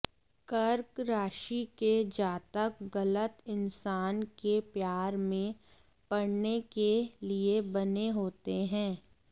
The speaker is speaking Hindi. कर्क राशि के जातक गलत इंसान के प्यार में पड़ने के लिए बने होते हैं